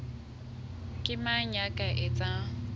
ke mang ya ka etsang